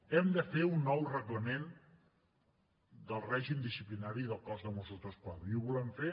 hem de fer un nou reglament del règim disciplinari del cos de mossos d’esquadra i ho volem fer